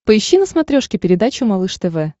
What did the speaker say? поищи на смотрешке передачу малыш тв